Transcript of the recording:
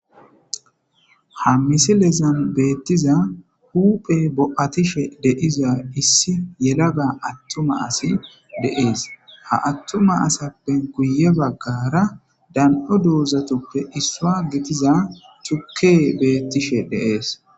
ha misilezan beettiza huphe bo7atishe deiza issi yelaga attuma asi deees ha attuma asappen kuye baggara dan7o duuzatuppe issua gitiza chukke beettishe deees